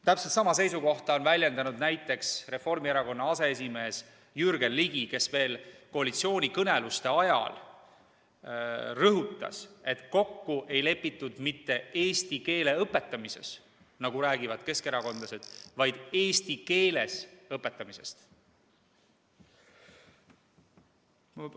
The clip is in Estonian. Täpselt sama seisukohta on väljendanud näiteks Reformierakonna aseesimees Jürgen Ligi, kes veel koalitsioonikõneluste ajal rõhutas, et kokku ei lepitud mitte eesti keele õpetamises, nagu räägivad keskerakondlased, vaid eesti keeles õpetamisest.